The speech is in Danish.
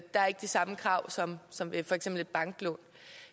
der er ikke de samme krav som som med for eksempel et banklån